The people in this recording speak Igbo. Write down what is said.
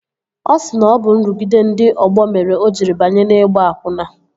Ọ sị na ọ bụ nrụgide ndị ọgbọ mere o jiri banye n'ịgba akwụna